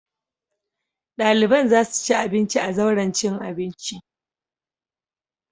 Ɗaliban za su ci abinci a zauren cin abinci.